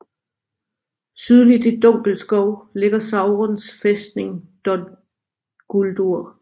Sydligt i Dunkelskov ligger Saurons fæstning Dol Guldur